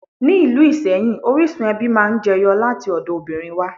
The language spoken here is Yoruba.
Ni ìlú Ìsẹ́yìn, orísun ẹbí máa ń jẹ yọ láti ọ̀dọ̀ obìnrin wá.